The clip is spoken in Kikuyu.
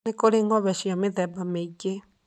Nĩ kũrĩ ng'ombe cia mĩthemba mĩingĩ.